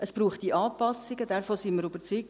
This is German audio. Es bräuchte Anpassungen, davon sind wir überzeugt;